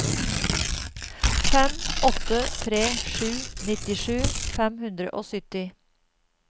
fem åtte tre sju nittisju fem hundre og sytti